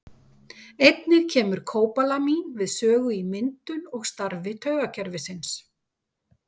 Einnig kemur kóbalamín við sögu í myndun og starfi taugakerfisins.